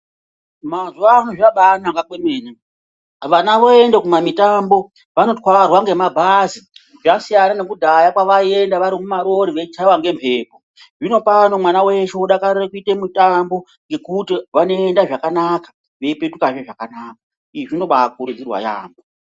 Mazuwano zvabanaka kwemene. Vana voende kumamitambo, vanotwarwa ngemabhazi. Zvasiyana nekudhaya kwavaienda vari mumarori veichaiwa ngembepo. Zvinopano mwana weshe odakarira kuite mitambo ngekuti vanoenda zvakanaka, veipetukazve zvakanaka. Izvi zvinobaikurudzirwa yaambo.